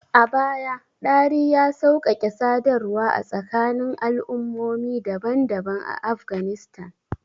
A baya, Dari ya sauƙaƙe sadarwa a tsakanin al'ummomi daban-daban a Afghanistan.